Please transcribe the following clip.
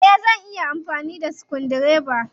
Eh. Zan iya amfani da sukudireba.